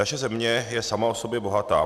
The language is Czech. Naše země je sama o sobě bohatá.